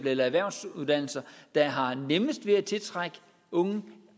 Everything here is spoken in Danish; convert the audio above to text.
eller erhvervsuddannelser der har nemmest ved at tiltrække unge